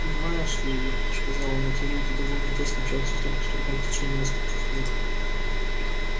понимаешь ли ир сказал он эти люди довольно тесно общаются друг с другом в течение нескольких лет